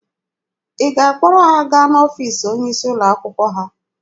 Ị ga-akpọrọ ha gaa n'ọfiisi onye isi ụlọ akwụkwọ ha?